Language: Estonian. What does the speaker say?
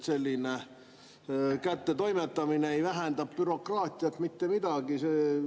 Selline kättetoimetamine ei vähenda bürokraatiat mitte kuidagi.